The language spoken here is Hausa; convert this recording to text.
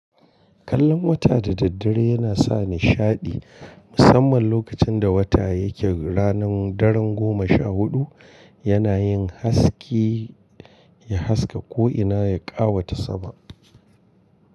Kallon wata da daddare yana sa nishadi, musamman lokacin da wata yake ranar daren goma sha huɗu, yana yin haske ya haska ko'ina ya ƙawata sama.